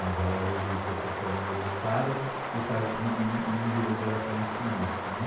Mas ela é hoje professora universitária e faz não não lida diretamente com isso, né.